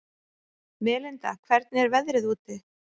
Melinda, hvernig er veðrið úti?